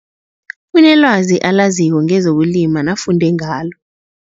Unelwazi alaziko ngezokulima nafunde ngalo.